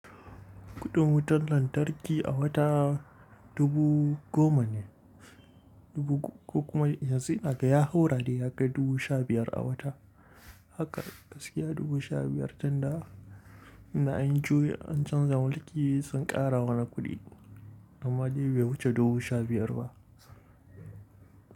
Kuɗin wutar lantarki a wata dubu goma ne ko kuma yanzu inaga ya haura dai, ya kai dubu sha biyar a wata. Haka gaskiya dubu sha biyar tunda ina an juyi an canza mulki sun ƙara mana kuɗi. Normally bai wuce dubu sha biyar ba.